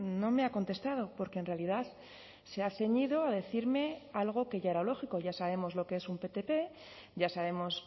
no me ha contestado porque en realidad se ha ceñido a decirme algo que ya era lógico ya sabemos lo que es un ptp ya sabemos